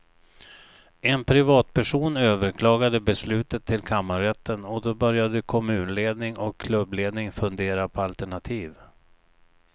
En privatperson överklagade beslutet till kammarrätten och då började kommunledning och klubbledning fundera på alternativ.